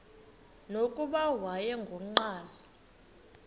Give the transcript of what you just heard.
nokuba wayengu nqal